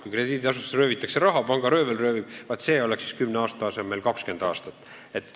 Kui krediidiasutustest röövitakse raha – pangaröövel röövib –, vaat siis kehtiks nõue 10 aasta asemel 20 aastat.